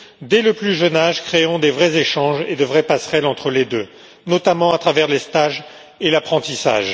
Dès le plus jeune âge, créons de vrais échanges et de vraies passerelles entre les deux, notamment à travers les stages et l'apprentissage.